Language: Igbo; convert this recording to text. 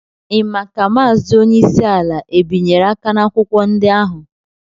Ị mà kà Maazị onyeisi ala é bịnyere aka na akwụkwọ ndị ahụ?